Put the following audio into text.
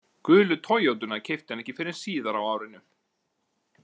Gulu Toyotuna keypti hann ekki fyrr en síðar á árinu.